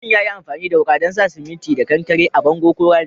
Mutumin ya yi amfani da wuka dan sa siminti da kankare a'bongo ko rami.